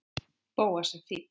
Bóas er fínn.